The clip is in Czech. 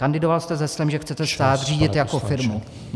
Kandidoval jste s heslem , že chcete stát řídit jako firmu.